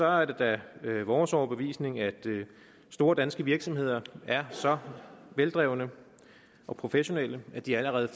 er det da vores overbevisning at store danske virksomheder er så veldrevne og professionelle at de allerede